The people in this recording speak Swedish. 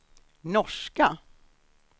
norska